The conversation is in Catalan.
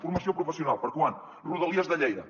formació professional per a quan rodalies de lleida